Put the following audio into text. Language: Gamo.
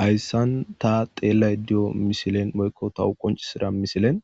hayssan ta xeellay diyo misilen boykko tahu qoncisida misilen